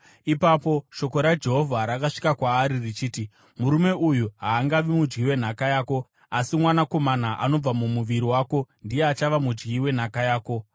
Ipapo shoko raJehovha rakasvika kwaari richiti, “Murume uyu haangavi mudyi wenhaka yako, asi mwanakomana anobva mumuviri wako ndiye achava mudyi wenhaka yako.”